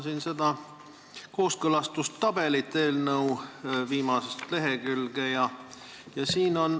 Vaatan seda kooskõlastustabelit, mis on seletuskirja viimasel lehel.